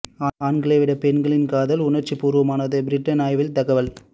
ஆண்களை விட பெண்களின் காதல் உணர்ச்சி பூர்வமானது பிரிட்டன் ஆய்வில் தகவல்